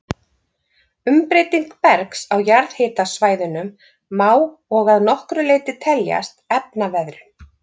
Umbreyting bergs á jarðhitasvæðunum má og að nokkru leyti teljast efnaveðrun.